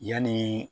Yanni